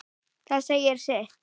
Það segir sitt.